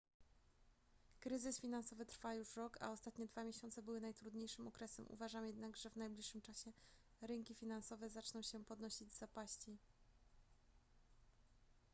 kryzys finansowy trwa już rok a ostatnie dwa miesiące były najtrudniejszym okresem uważam jednak że w najbliższym czasie rynki finansowe zaczną się podnosić z zapaści